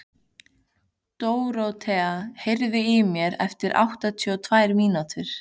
Dorothea, heyrðu í mér eftir áttatíu og tvær mínútur.